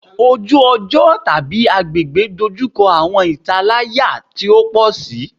Oju-ọjọ / agbegbe dojukọ awọn italaya ti o pọ si